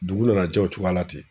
Dugu nana jɛ o cogoyala ten